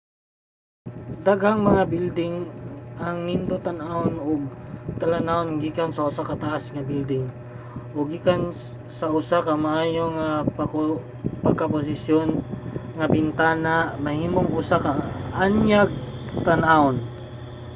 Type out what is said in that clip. daghang mga bilding ang nindot tan-awon ug ang talan-awon gikan sa usa ka taas nga bilding o gikan sa usa ka maayo pagkaposisyon nga bintana mahimong usa ka kaanyag tan-awon